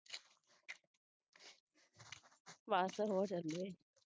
ਬਸ ਹੋ ਚਲੇ